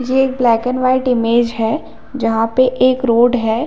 ये एक black and white image है जहाँ पे एक रोड है।